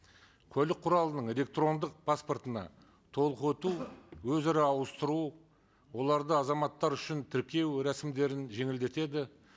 көлік құралының электрондық паспортына толық өту өзара ауыстыру оларды азаматтар үшін тіркеу рәсімдерін жеңілдетеді